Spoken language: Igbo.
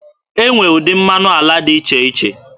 E nwere ụdị mmanụ ala dị iche iche.